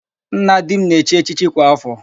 Nna di m na-echi echichi kwa áfọ̀.